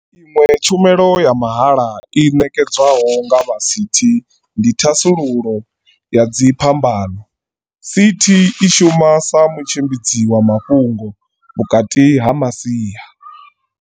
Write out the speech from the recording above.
Iṅwe tshumelo ya mahala i ṋekedzwaho nga vha CT ndi ya thasululo ya dzi phambano. CT i shuma sa mutshimbidzi wa mafhungo vhukati ha masia.